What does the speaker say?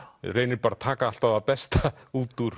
reynir bara að taka alltaf það besta út úr